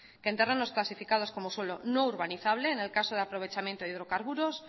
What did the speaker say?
que en terrenos clasificados como suelo no urbanizable en el caso de aprovechamiento de hidrocarburos